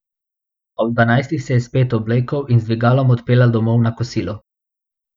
Ob dvanajstih se je spet oblekel in z dvigalom odpeljal domov na kosilo.